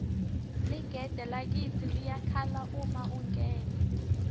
ligede lakitsi liyakhala uma ungena